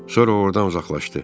Sonra ordan uzaqlaşdı.